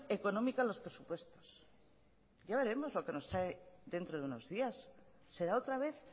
económica a los presupuestos ya veremos lo que nos trae dentro de unos días será otra vez